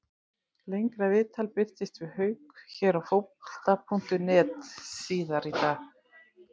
Lengra viðtal birtist við Hauk hér á Fótbolta.net síðar í dag.